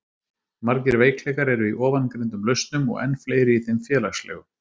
margir veikleikar eru í ofangreindum lausnum og enn fleiri í þeim félagslegu